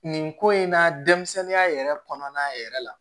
Nin ko in na denmisɛnninya yɛrɛ kɔnɔna yɛrɛ la